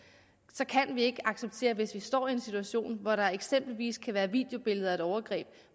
så kan vi ikke acceptere hvis vi står i en situation hvor der eksempelvis kan være videobilleder af et overgreb og